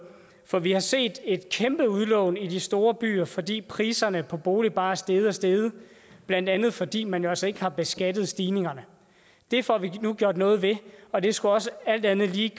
for vi har set et kæmpe udlån i de store byer fordi priserne på boliger bare er steget og steget blandt andet fordi man jo altså ikke har beskattet stigningerne det får vi nu gjort noget ved og det skulle alt andet lige